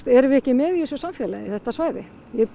erum við ekki með í þessum samfélagi þetta svæði